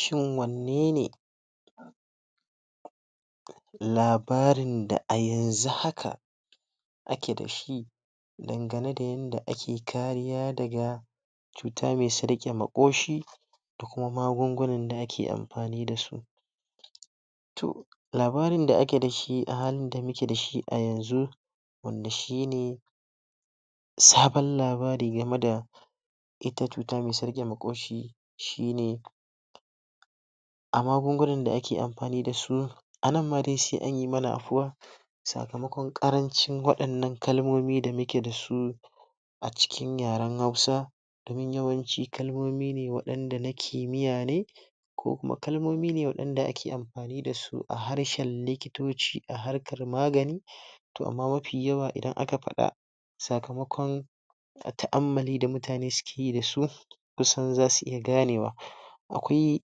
Shin wannene labarin da a yanzu haka ake da shi dangane da yadda ake kariya daga cutar me tsarke makoshi da kuma magungunan da ake amfani da su Labarin da ake da shi a da muke da shi a yanzu wanda shi ne sabon labari game da ita cutar me tsarke makoshi shi ne a magungunan da ake amfani da su a nan ma dai shi sakamakon karancin wadannan kalmomi da muke da su a cikin yaren hausa domin yawanci kalmoni ne wadanda nake ko kuma kalmomi ne wadanda ake amfani da su a harshen likitoci a harkan magani toh amma mafi yawa idan aka fada sakamakon ammale da mutani suke yi da su kusan za su iya ganewa akwai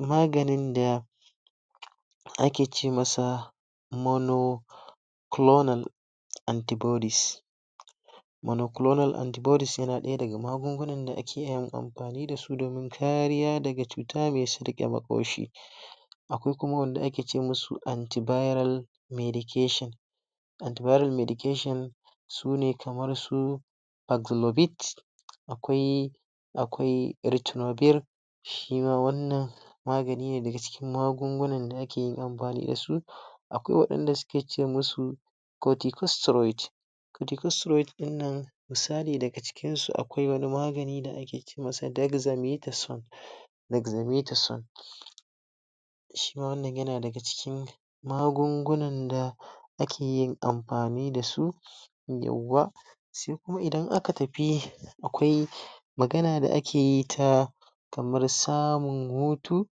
maganin da ake ce masa mano anti bodies monocolonal antibodies shi na daya daga magungunan da ake yin amfani da su don kariya daga cuta me koshi akwai kuma wanda ake ce musu anti viral medication anti vira medication sune kamar su akwai akwai shi ne wannan magani daga cikin magunguna da ake yin da su akwai wadanda suke ce musu din nan misali daga cikin su akwai wani magani da ake ce masa dexa shima wannan yana daga cikin magungunan da ake yin amfani da su sai kuma idan aka tafi akwai magana da ake yi ta kamar samun hutu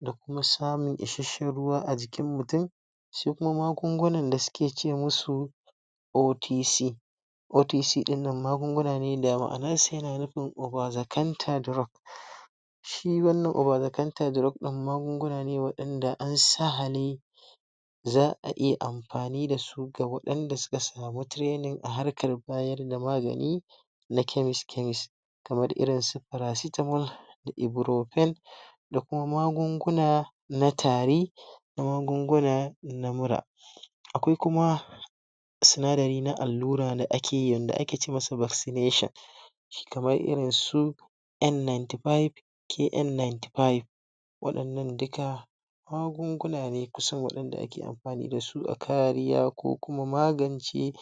da kuma samun issashen ruwa a jikin mutum, shi kuma magungunan da suke ce musu OTC OTC nan magunguna ne da ma'anan sa yana nufin over the counter drug shi wannan over the counter maguguna ne wadanda an sa za a iya amfani da da da suka samu training a harkan bayar da magani na chemist chemist kamar irin su paracetamol da ibruphen da kuma magunguna na tari da magunguna na mura. Akwai kuma sunadari na allura da ake yi wanda ake ce masa vaccination kamar irin su N ninety five KN ninety five wadannan duka magunguna ne da kariya da kuma magance